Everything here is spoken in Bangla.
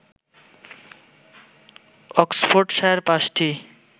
অক্সফোর্ডশায়ার পাঁচটি